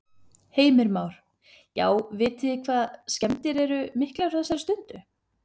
Heimir Már: Já, vitið þið hvað skemmdir eru miklar á þessari stundu?